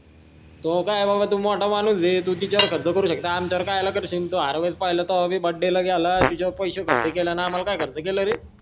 तुहं काय बाबा तू मोठा माणूस आहे तू तिच्या वर खर्च करू शकतो आमच्या वर कह्या ला करशील तू हर वेळेस पहिला तेव्हा भी बडेला गेला तिच्या वर पैश खर्च केलं अन आम्हाला काय खर्च केलं रे